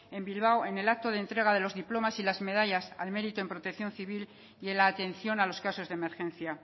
en bilbao en el acto de entrega de los diplomas y las medallas al merito en protección civil y en la atención a los casos de emergencia